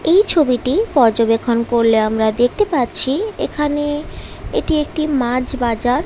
এই ছবিটি পর্যবেক্ষণ করলে আমরা দেখতে পাচ্ছি এখানে এটি একটি মাছ বাজার।